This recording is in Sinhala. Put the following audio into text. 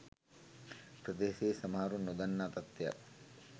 ප්‍රදේශයේ සමහරුන් නොදන්නා තත්ත්වයක්